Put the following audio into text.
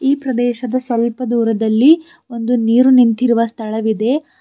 ಈ ಪ್ರದೇಶದ ಸ್ವಲ್ಪ ದೂರದಲ್ಲಿ ಒಂದು ನೀರು ನಿಂತಿರುವ ಸ್ಥಳವಿದೆ.